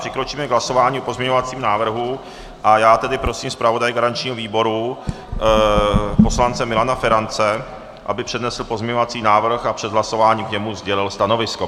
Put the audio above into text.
Přikročíme k hlasování o pozměňovacím návrhu, a já tedy prosím zpravodaje garančního výboru poslance Milana Ferance, aby přednesl pozměňovací návrh a před hlasováním k němu sdělil stanovisko.